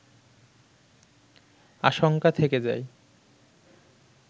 আশঙ্কা থেকে যায়